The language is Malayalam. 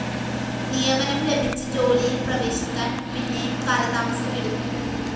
നിയമനം ലഭിച്ച് ജോലിയില്‍ പ്രവേശിക്കാന്‍ പിന്നെയും കാലതാമസം എടുക്കും